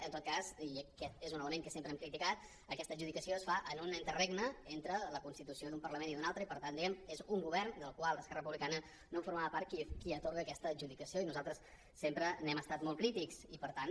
en tot cas i aquest és un element que sempre hem criticat aquesta adjudicació es fa en un interregne entre la constitució d’un parlament i d’un altre i per tant diguem ne és un govern del qual esquerra republicana no formava part qui atorga aquesta adjudicació i nosaltres sempre n’hem estat molt crítics i per tant